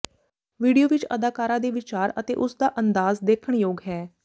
video ਵਿਚ ਅਦਾਕਾਰਾ ਦੇ ਵਿਚਾਰ ਅਤੇ ਉਸ ਦਾ ਅੰਦਾਜ਼ ਦੇਖਣ ਯੋਗ ਹੈ